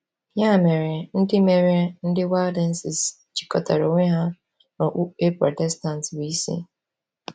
Ya mere, ndị mere, ndị Waldenses jikọtara onwe ha na okpukpe Protestant bụ́ isi.